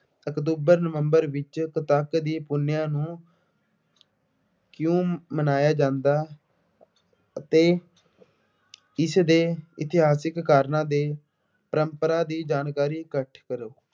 October, ਨਵੰਬਰ ਵਿੱਚ ਕੱਤਕ ਦੀ ਪੂਨਿਆ ਨੂੰ ਕਿਉਂ ਮਨਾਇਆ ਜਾਂਦਾ ਅਤੇ ਇਸ ਦੇ ਇਤਿਹਾਸਿਕ ਕਾਰਨਾਂ ਦੇ ਪਰੰਪਰਾ ਦੀ ਜਾਣਕਾਰੀ ਇਕੱਠੀ ਕਰੋ।